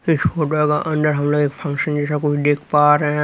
इस फोटो के अंदर हम लोग एक फंक्शन जैसा कुछ देख पा रहे हैं।